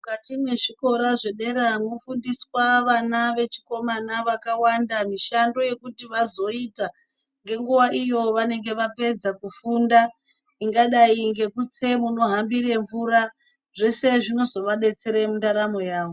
mukati mwezvikora zvedera mwofundiswa vana vechikomana vakawanda mishando yekuti vazoita, ngenguva iyo vanenge vapedza kufunda. Ingadai ngekutse munohambire mvura zvese zvinozovabetsere mundaramo yavo.